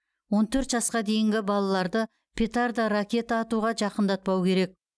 он төрт жасқа дейінгі балаларды петарда ракета атуға жақындатпау керек